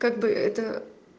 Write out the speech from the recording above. как бы это